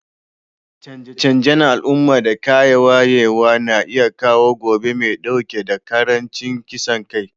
Canje-canjen al'umma da kayan wayewa na iya kawo gobe mai dauke da karancin kisan kai.